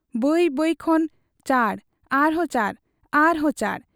ᱵᱟᱹᱭ ᱵᱟᱹᱭ ᱠᱷᱚᱱ ᱪᱟᱸᱰ, ᱟᱨᱦᱚᱸ ᱪᱟᱸᱰ, ᱟᱨᱦᱚᱸ ᱪᱟᱸᱰ ᱾